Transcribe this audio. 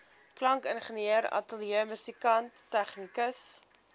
klankingenieur ateljeemusikant tegnikus